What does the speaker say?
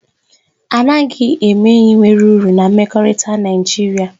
A naghị eme enyi nwere uru na mmekọrịta Naịjirịa